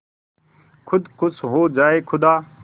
खुद खुश हो जाए खुदा